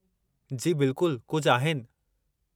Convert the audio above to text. जी बिल्कुलु कुझु आहिनि।